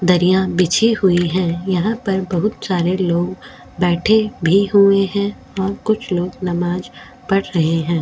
दरियां बिछी हुई है यहां पर बहुत सारे लोग बैठे भी हुए हैं और कुछ लोग नमाज पढ़ रहे हैं।